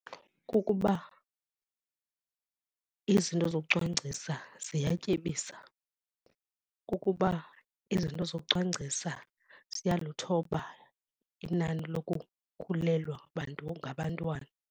Kukuba izinto zokucwangcisa ziyatyebisa, kukuba izinto zokucwangcisa ziyaluthoba inani lokukhulelwa ngabantwana.